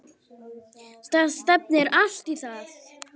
Það stefnir allt í það.